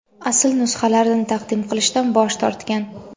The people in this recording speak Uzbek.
asl nusxalarini taqdim qilishdan bosh tortgan.